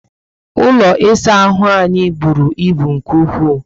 Ụlọ ịsa ahụ anyị bụrụ ibu nke ukwu